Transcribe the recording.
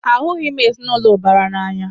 Ahụghị m ezinaụlọ ụbara n'anya.